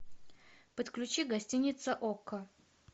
подключи гостиница окко